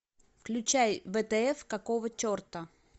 включай втф какого черта